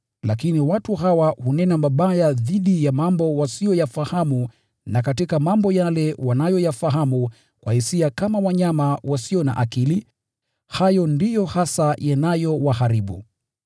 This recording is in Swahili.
Lakini watu hawa hunena mabaya dhidi ya mambo wasiyoyafahamu. Na katika mambo yale wanayoyafahamu kwa hisia kama wanyama wasio na akili, hayo ndiyo hasa yanayowaharibu.